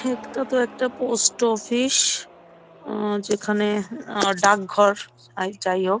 এখানে তো একটা পোস্ট অফিস উম যেখানে ডাকঘর আর যাইহোক--